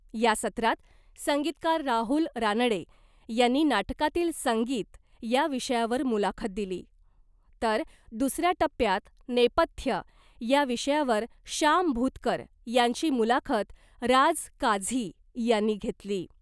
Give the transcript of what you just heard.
या सत्रात संगीतकार राहुल रानडे यांनी ' नाटकातील संगीत ' या विषयावर मुलाखत दिली, तर दुसऱ्या टप्प्यात ' नेपथ्य ' या विषयावर शाम भुतकर यांची मुलाखत राज काझी यांनी घेतली .